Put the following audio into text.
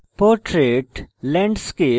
portrait landscape